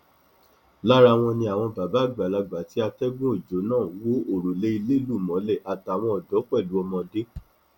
lára wọn ni àwọn bàbá àgbàlagbà tí atẹgùn ọjọ náà wọ òrùlé ilé lù mọlẹ àtàwọn ọdọ pẹlú ọmọdé